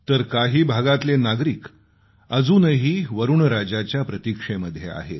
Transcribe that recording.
तर काही भागातले नागरिक अजूनही वरूणराजाच्या प्रतीक्षेमध्ये आहेत